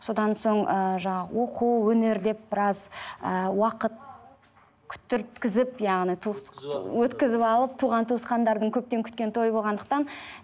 содан соң ыыы жаңағы оқу өнер деп біраз ыыы уақыт күттірткізіп яғни туыс өткізіп алып туған туысқандардың көптен күткен тойы болғандықтан